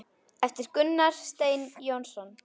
eftir Gunnar Stein Jónsson